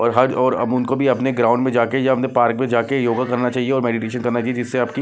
और हज और अब उनको भी अपने ग्राउंड में जाके या अपने पार्क में जाके योगा करना चाहिए और मेडिटेशन करना चाहिए जिससे आपकी--